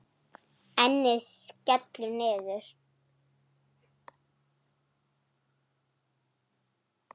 Ennið skellur niður.